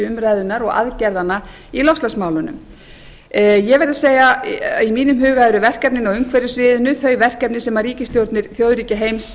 umræðunnar og aðgerðanna í loftslagsmálunum ég verð að segja að í mínum huga eru verkefnin á umhverfissviðinu þau verkefni sem ríkisstjórnir þjóðríkja heims